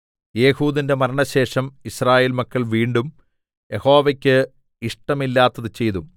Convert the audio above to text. ഏഹൂദിന്റെ മരണശേഷം യിസ്രായേൽ മക്കൾ വീണ്ടും യഹോവയ്ക്ക് ഇഷ്ടമില്ലാത്തത് ചെയ്തു